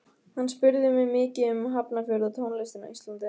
Hann spurði mig mikið um Hafnarfjörð og tónlistina á Íslandi.